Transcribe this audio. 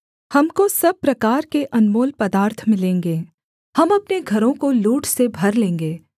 हमको सब प्रकार के अनमोल पदार्थ मिलेंगे हम अपने घरों को लूट से भर लेंगे